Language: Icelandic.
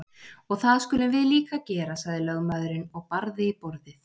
Og það skulum við líka gera, sagði lögmaðurinn og barði í borðið.